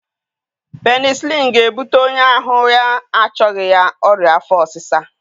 Penisịlinụ ga-ebute onye ahụ ya achọghị ya ọrịa afọ ọsịsa